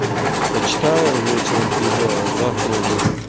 почитаю вечером приду а завтра уже